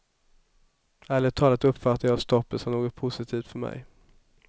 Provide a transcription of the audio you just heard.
Ärligt talat uppfattade jag stoppet som något positivt för mig.